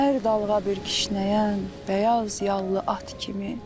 Hər dalğa bir kişnəyən bəyaz yallı at kimi.